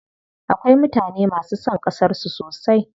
Akwai mutane masu son ƙasar su sosai.